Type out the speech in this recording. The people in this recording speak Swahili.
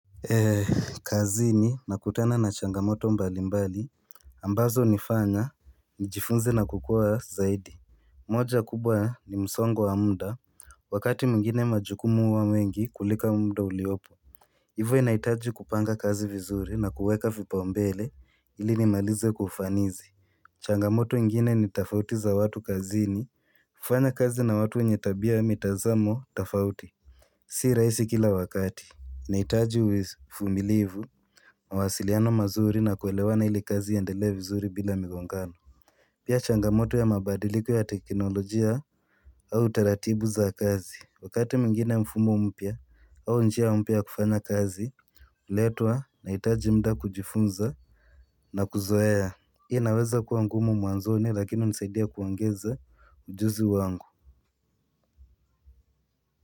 Kazini ninakutana na changamoto mbalimbali ambazo hunifanya nijifunze na kukuwa zaidi. Moja kubwa ni msongo wa muda Wakati mwingine majukumu huwa mengi kuliko muda uliopo hivo nahitaji kupanga kazi vizuri na kuweka vipaumbele ili nimalize kwa ufanisi. Changamoto ingine ni tofauti za watu kazini kufanya kazi na watu wenye tabia na mitazamo tafauti. Sio rahisi kila wakati. Inahitaji uvumilivu, mawasiliano mazuri na kuelewana ili kazi iendelee vizuri bila migongano. Pia changamoto ya mabadiliko ya teknolojia au taratibu za kazi. Wakati mwingine mfumo mpya au njia mpya ya kufanya kazi huletwa, nahitaji muda kujifunza na kuzoea. Hii inaweza kuwa ngumu mwanzoni lakini hunisaidia kuongeza ujuzi wangu.